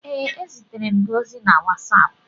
Ee, ezitere m gị ozi na WhatsApp.